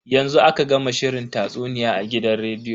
Yanzu aka gama shirin tatsuniya a gidan rediyo.